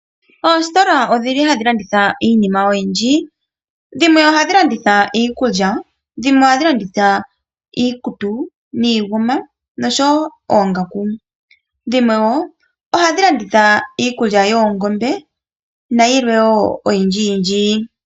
Oositola odhi li hadhi landitha iinima oyindji dhimwe oha dhi landitha iikulya, dhimwe oha dhi landitha iikutu niinguma noshowo oongaku, dhimwe wo oha dhi landitha iikulya yoongombe nayilwe wo oyindji yindji.